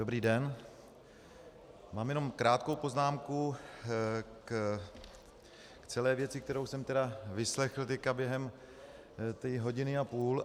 Dobrý den, mám jenom krátkou poznámku k celé věci, kterou jsem tedy vyslechl teď během té hodiny a půl.